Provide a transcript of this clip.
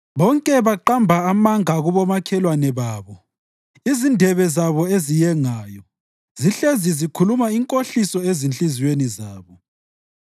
Bonke baqamba amanga kubomakhelwane babo; izindebe zabo eziyengayo zihlezi zikhuluma inkohliso esezinhliziyweni zabo.